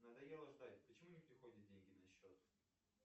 надоело ждать почему не приходят деньги на счет